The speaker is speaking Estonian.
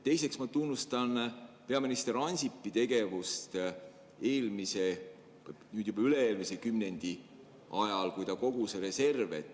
Teiseks ma tunnustan peaminister Ansipi tegevust eelmise, nüüd juba üle-eelmise kümnendi ajal, kui ta kogus reserve.